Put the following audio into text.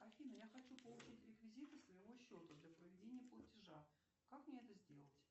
афина я хочу получить реквизиты своего счета для проведения платежа как мне это сделать